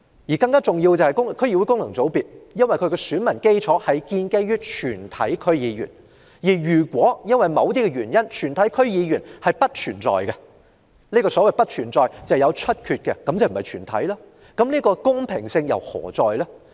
再者，由於區議會功能界別的選民基礎是全體區議員，如果全體區議員因為有議席出缺而不存在，即不是"全體"，公平性何在？